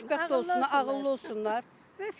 Xoşbəxt olsunlar, ağıllı olsunlar, vəssalam.